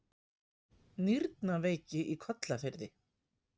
Nýrnaveiki í Kollafirði